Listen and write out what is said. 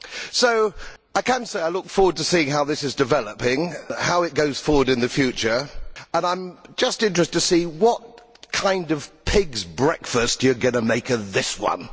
So I can say I look forward to seeing how this develops, how it goes forward in the future, and I am just interested to see what kind of pig's breakfast you are going to make of this one!